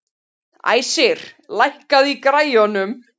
Æsir, lækkaðu í græjunum.